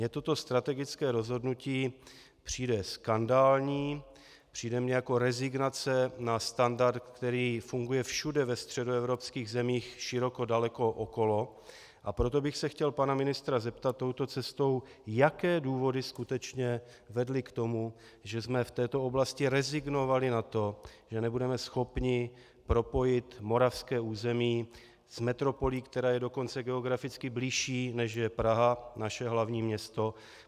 Mně toto strategické rozhodnutí přijde skandální, přijde mně jako rezignace na standard, který funguje všude ve středoevropských zemích široko daleko okolo, a proto bych se chtěl pana ministra zeptat touto cestou, jaké důvody skutečně vedly k tomu, že jsme v této oblasti rezignovali na to, že nebudeme schopni propojit moravské území s metropolí, která je dokonce geograficky bližší, než je Praha, naše hlavní město.